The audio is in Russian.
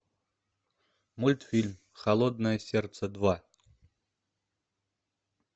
мультфильм холодное сердце два